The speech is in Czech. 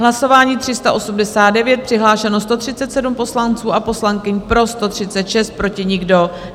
Hlasování 389, přihlášeno 137 poslanců a poslankyň, pro 136, proti nikdo.